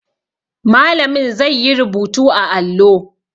Malamin zai yi rubutu a allo